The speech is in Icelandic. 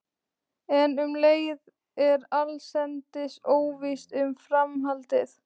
En um leið er allsendis óvíst um framhaldið.